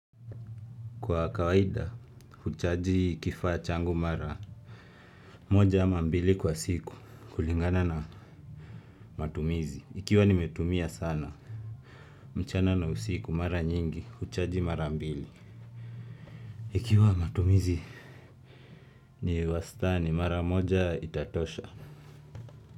Kwa kawaida huchaji kifaa changu mara. Moja ama mbili kwa siku kulingana na matumizi ikiwa nimetumia sana. Mchana na usiku mara nyingi huchaji mara mbili. Ikiwa matumizi. Ni wastani mara moja itatosha.